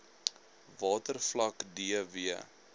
watervlak d w